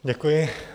Děkuji.